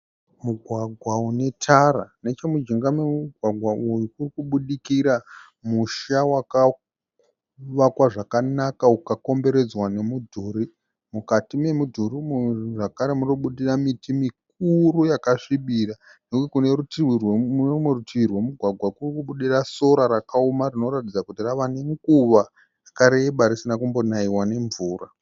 Mugwagwa unetara. Nechemujinga memugwagwa uyu murikubudikira musha wakavakwa zvakanaka ukakomberedzwa nemudhuri. Mukati memidhuri zvagara munobudikira miti mukuru yakasvibira. Kune rumwe rutivi rwemugwagwa kuri kubudikira sora rakaoma rinoratidza kuti rava nenguva yakareba risina kumbonaiwa nemvura